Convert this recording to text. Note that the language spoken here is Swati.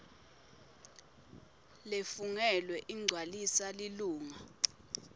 lefungelwe igcwaliswa lilunga